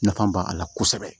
Nafa b'a la kosɛbɛ